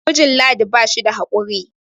mijijn ladi ba shi da haƙuri